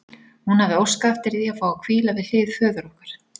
Hún hafði óskað eftir því að fá að hvíla við hlið föður okkar.